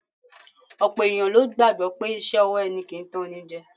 Ọ̀pọ̀ ènìyàn ló gbàgbọ́ pé iṣẹ́ ọwọ́ ẹni kì í tanní jẹ